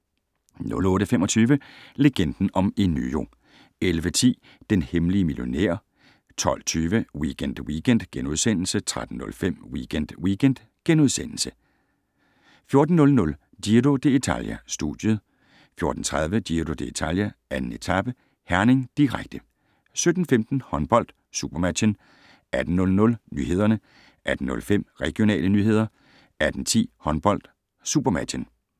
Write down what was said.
08:25: Legenden om Enyo 11:10: Den hemmelige millionær 12:20: Weekend Weekend * 13:05: Weekend Weekend * 14:00: Giro dItalia: Studiet 14:30: Giro d´Italia: 2. etape - Herning, direkte 17:15: Håndbold: SuperMatchen 18:00: Nyhederne 18:05: Regionale nyheder 18:10: Håndbold: SuperMatchen